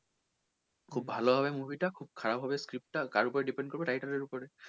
খুব ভালো হবে movie টা খুব খারাপ হবে script টা কার ওপরে depend করবে writer এর ওপরে?